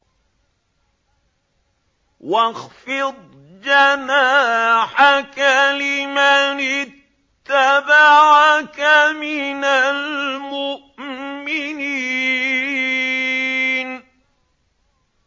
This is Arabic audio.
وَاخْفِضْ جَنَاحَكَ لِمَنِ اتَّبَعَكَ مِنَ الْمُؤْمِنِينَ